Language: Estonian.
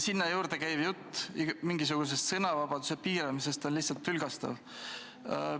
Sinna juurde käiv jutt mingisugusest sõnavabaduse piiramisest on lihtsalt tülgastav.